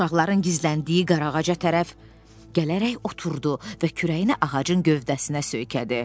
Uşaqların gizləndiyi qarağaca tərəf gələrək oturdu və kürəyini ağacın gövdəsinə söykədi.